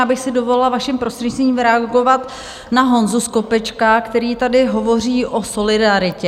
Já bych si dovolila, vaším prostřednictvím, reagovat na Honzu Skopečka, který tady hovoří o solidaritě.